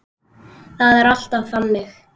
Það er alltaf þannig.